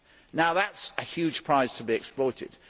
Now that is a huge prize to be exploited.